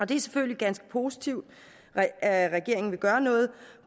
det er selvfølgelig ganske positivt at at regeringen vil gøre noget